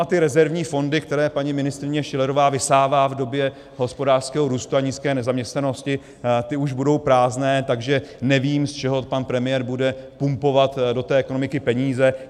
A ty rezervní fondy, které paní ministryně Schillerová vysává v době hospodářského růstu a nízké nezaměstnanosti, ty už budou prázdné, takže nevím, z čeho pan premiér bude pumpovat do té ekonomiky peníze.